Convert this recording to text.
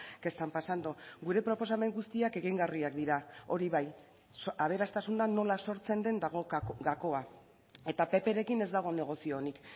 que están pasando gure proposamen guztiak egingarriak dira hori bai aberastasuna nola sortzen den dago gakoa eta pprekin ez dago negozio onik